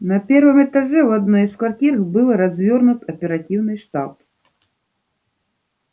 на первом этаже в одной из квартир был развёрнут оперативный штаб